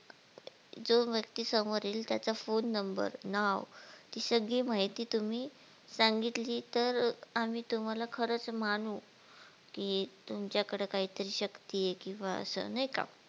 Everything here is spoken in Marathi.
जो व्यक्ती समोर यील त्याचा फोन नंबर नाव ही सगळी माहिती तुम्ही सांगितली तर आम्ही तुम्हला खरच मानु कि तुमच्या कडे काहीतरी शक्ती हे किंवा असं नाही का?